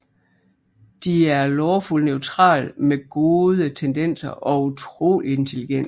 De er Lawful Neutral med Gode tendenser og utroligt intelligente